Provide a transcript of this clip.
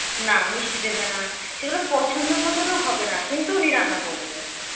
না মিষ্টি দেবে না সেগুলো পছন্দমতনও হবে না কিন্তু উনি রান্না করবে